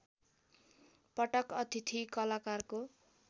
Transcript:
पटक अतिथि कलाकारको